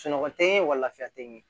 Sunɔgɔ tɛ n ye wa lafiya tɛ n ye